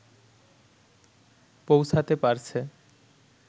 পৌঁছাতে পারছে